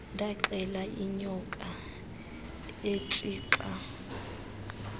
ndaxela inyoka etshica